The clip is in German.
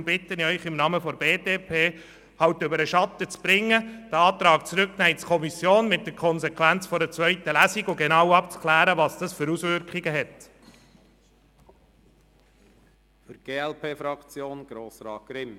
Deshalb bitte ich Sie im Namen der BDP, über Ihren Schatten zu springen und zur genauen Abklärung der Auswirkungen den Antrag in die Kommission zurückzunehmen, was eine zweite Lesung zur Folge hat.